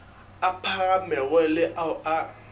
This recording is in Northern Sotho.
a phagamego le ao a